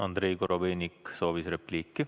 Andrei Korobeinik soovis repliiki.